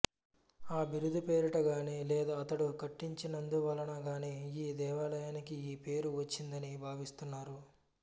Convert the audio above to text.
ఆ బిరుదు పేరిట గాని లేదా అతడు కట్టించినందువలన గాని ఈ దేవాలయానికి ఈ పేరు వచ్చిందని భావిస్తున్నారు